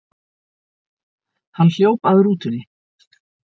Hann hljóp að rútunni.